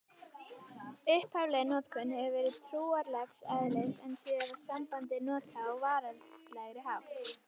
Upphafleg notkun hefur verið trúarlegs eðlis en síðar var sambandið notað á veraldlegri hátt.